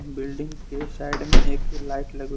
building के side में एक लाइट लगी--